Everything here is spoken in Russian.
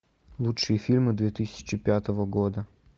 лучшие фильмы две тысячи пятого года